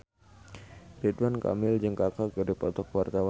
Ridwan Kamil jeung Kaka keur dipoto ku wartawan